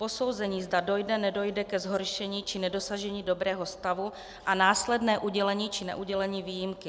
Posouzení, zda dojde, nedojde ke zhoršení či nedosažení dobrého stavu a následné udělení či neudělení výjimky.